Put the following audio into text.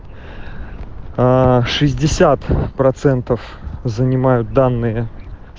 а шестьдесят процентов занимают данные